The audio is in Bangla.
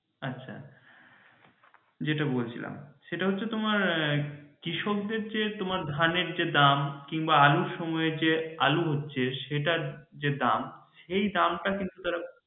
আচ্ছা যেটা বলছিলাম সেটা হচ্ছে তোমার কৃষকদের যে তোমার ধানের যে দাম কিমবা আলুর সময়ে যে আলু হচ্ছে সেটার যে দাম এই দাম টা কিন্তু তারা